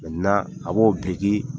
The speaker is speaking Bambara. a b'o biriki